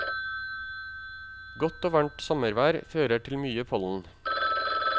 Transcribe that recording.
Godt og varmt sommervær fører til mye pollen.